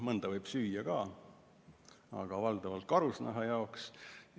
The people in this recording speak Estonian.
Mõnda võib süüa ka, aga valdavalt on nad karusnaha saamiseks.